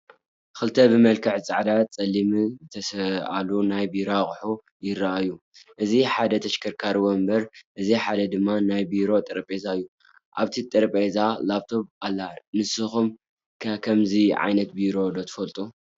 ክልተ ብመልክዕ ፃዕዳን ፀሊምን ዝተሰኣሉ ናይ ቢሮ ኣቑሑት ይራኣዩ፡፡ እቲ ሓደ ተሽከርካሪ ወንበር እቲ ሓደ ድማ ናይ ቢሮ ጠረጼዛ እዩ፡፡ ኣብቲ ጠረጼዛ ላኘቶም ኣላ ንስኹም ከ ከምዚ ዓይነት ቢሮ ዶ ትፈልጡ?